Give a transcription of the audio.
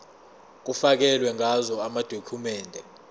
kufakelwe ngazo amadokhumende